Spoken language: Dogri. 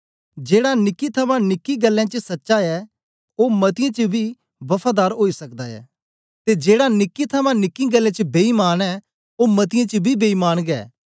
जेड़ा निक्की थमां निक्की गल्लें च सच्चा ऐ ओ मतीयें च बी वफादार ओई सकदा ऐ ते जेड़ा निक्की थमां निक्की गल्लें च बेईमान ऐ ओ मतीयें च बी बेईमान गै